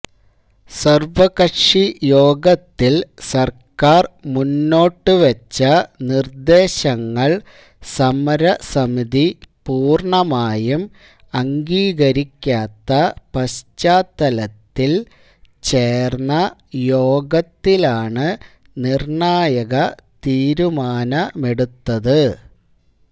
സര്വകക്ഷി യോഗത്തില് സര്ക്കാര് മുന്നോട്ടുവെച്ച നിര്ദേശങ്ങള് സമര സമിതി പൂര്ണമായും അംഗീകരിക്കാത്ത പശ്ചാത്തലത്തില് ചേര്ന്ന യോഗത്തിലാണ് നിര്ണായക തീരുമാനമെടുത്തത്